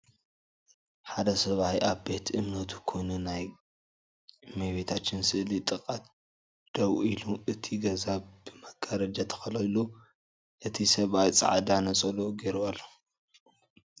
ሓደ ሰብኣይ ኣብ ቤት እምነቱ ኮይኑ ናይ እመቤታችን ስእሊ ጥቃ ደው ኢሉ እቲ ገዛ ብመጋረጃ ተከሊሉ እቲ ሰብኣይ ፃዕዳ ነፀልኡ ጌሩ ኣሎ።